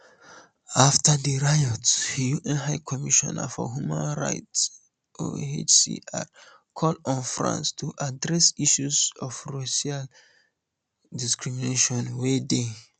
afta di riots un high commissioner for human rights ohchr call on france to address issues of racial discrimination wey dey